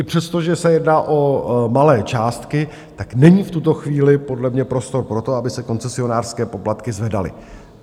I přesto, že se jedná o malé částky, tak není v tuto chvíli podle mě prostor pro to, aby se koncesionářské poplatky zvedaly.